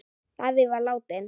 Davíð var látinn.